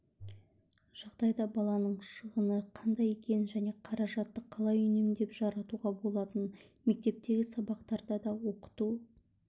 жағдайда баланың шығыны қандай екенін және қаражатты қалай үнемдеп жаратуға болатынын мектептегі сабақтарда да оқыту